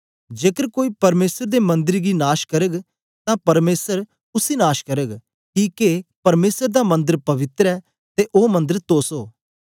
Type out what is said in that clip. जेकर कोई परमेसर दे मन्दर गी नाश करग तां परमेसर उसी नाश करग किके परमेसर दा मन्दर पवित्र ऐ ते ओ मन्दर तोस ओ